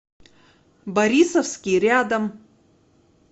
борисовский рядом